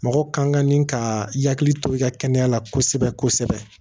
Mɔgɔ kan ka ni ka i hakili to i ka kɛnɛya la kosɛbɛ kosɛbɛ